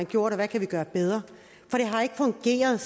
gjort og hvad kan vi gøre bedre for det har ikke fungeret